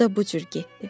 O da bu cür getdi.